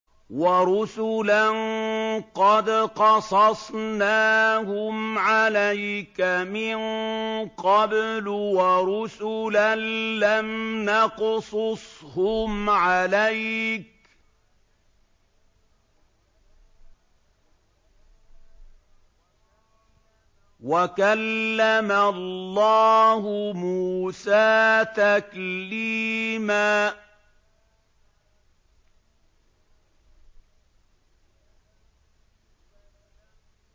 وَرُسُلًا قَدْ قَصَصْنَاهُمْ عَلَيْكَ مِن قَبْلُ وَرُسُلًا لَّمْ نَقْصُصْهُمْ عَلَيْكَ ۚ وَكَلَّمَ اللَّهُ مُوسَىٰ تَكْلِيمًا